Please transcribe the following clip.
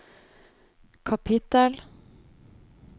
kapittel